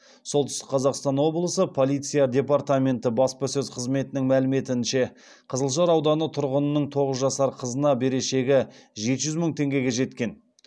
солтүстік қазақстан облысы полиция департаменті баспасөз қызметінің мәліметінше қызылжар ауданы тұрғынының тоғыз жасар қызына берешегі жеті жүз мың теңгеге жеткен